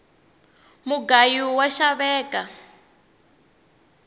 mugayu wa xaveka